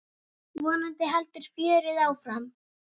Vonandi heldur fjörið áfram.